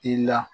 I la